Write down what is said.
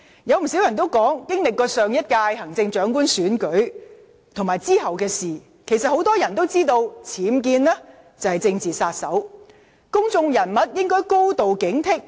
有不少人指出，經歷過上屆行政長官選舉後，很多人也知道僭建是"政治殺手"，公眾人物應該高度警惕。